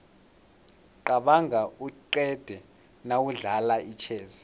qabanga uqede nawudlala itjhezi